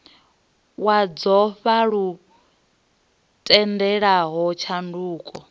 wa dzofha lu tendelaho tshanduko